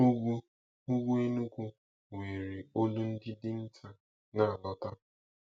Ugwu, Ugwu Enugu were olu ndị dinta na-alọta.